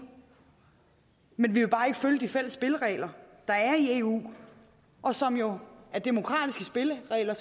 men vi vil bare ikke følge de fælles spilleregler der er i eu og som jo er demokratiske spilleregler